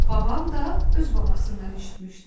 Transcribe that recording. Babam da öz babasından eşitmişdi.